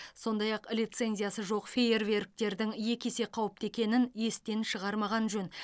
сондай ақ лицензиясы жоқ фейерверктердің екі есе қауіпті екенін естен шығармаған жөн